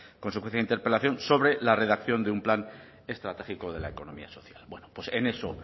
consecuencia de interpelación sobre la redacción de un plan estratégico de la economía social bueno pues en eso